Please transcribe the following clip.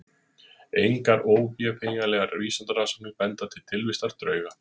Engar óvéfengjanlegar vísindarannsóknir benda til tilvistar drauga.